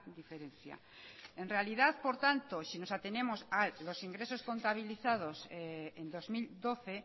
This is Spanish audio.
diferencia en realidad por tanto si nos atenemos a los ingresos contabilizados en dos mil doce